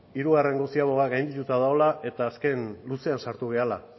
hirugarrengo ziaboga gaindituta dagoela eta azken luzean sartu garela